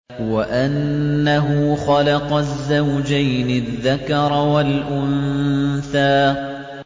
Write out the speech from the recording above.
وَأَنَّهُ خَلَقَ الزَّوْجَيْنِ الذَّكَرَ وَالْأُنثَىٰ